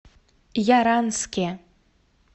яранске